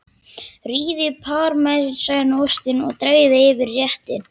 Rífið parmesanostinn og dreifið yfir réttinn.